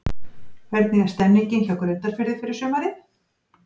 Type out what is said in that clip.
Hvernig er stemningin hjá Grundarfirði fyrir sumarið?